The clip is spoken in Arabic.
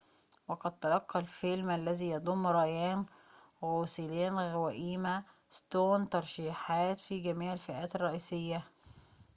وقد تلقى الفيلم الذي يضم رايان غوسلينغ وإيما ستون ترشيحات في جميع الفئات الرئيسية